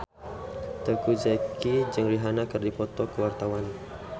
Teuku Zacky jeung Rihanna keur dipoto ku wartawan